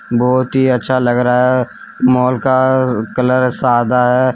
बहुत ही अच्छा लग रहा है मॉल का कलर सादा है।